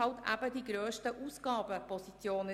Das sind die grössten Ausgabepositionen.